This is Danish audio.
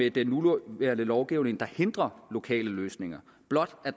i den nuværende lovgivning der hindrer lokale løsninger blot